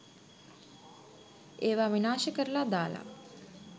ඒවා විනාශ කරලා දාලා